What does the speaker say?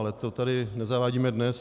Ale to tady nezavádíme dnes.